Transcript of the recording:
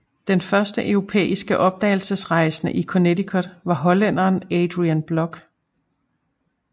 Den første europæiske opdagelsesrejsende i Connecticut var hollænderen Adriaen Block